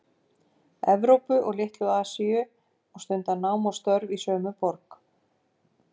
Evrópu og Litlu- Asíu og stundað nám og störf í sömu borg